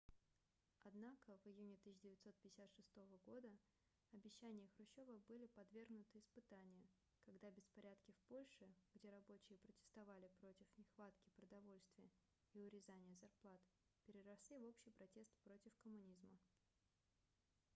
однако в июне 1956 года обещания хрущёва были подвергнуты испытанию когда беспорядки в польше где рабочие протестовали против нехватки продовольствия и урезания зарплат переросли в общий протест против коммунизма